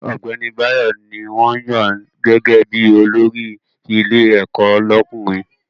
Ọ̀gbẹ́ni Báyọ̀ ní wọ́n yàn gẹ́gẹ́ bí olórí ilé ẹ̀kọ́ lọ́kùnrin